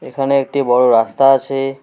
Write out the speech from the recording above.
এখানে একটি বড়ো রাস্তা আছে।